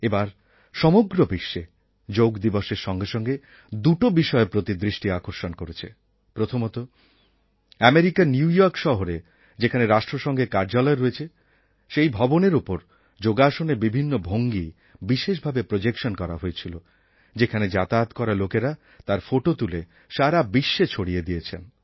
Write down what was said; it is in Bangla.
এবার সমগ্র বিশ্বে যোগদিবসএর সঙ্গে সঙ্গে দুটো বিষয়ের প্রতি দৃষ্টি আকর্ষণ করেছে প্রথমতঃ আমেরিকার নিউ ইয়র্ক শহরে যেখানে রাষ্ট্রসঙ্ঘের কার্যালয় রয়েছে সেই ভবনএর উপর যোগাসনের বিভিন্ন ভঙ্গি বিশেষ ভাবে প্রোজেক্শান করা হয়েছিল সেখানে যাতায়াত করা লোকেরা তার ফোটো তুলে সারা বিশ্বে ছড়িয়ে দিয়েছেন